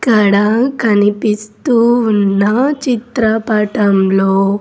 ఇక్కడ కనిపిస్తూ ఆన్న చిత్రపటంలో--